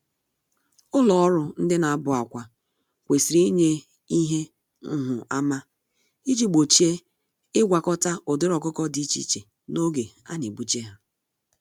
Ụlọ ọrụ ndị nabụ-akwá kwesịrị ịnye ihe nhụ-ama iji gbochie ịgwakọta ụdịrị ọkụkọ dị iche iche n'oge anebuje há.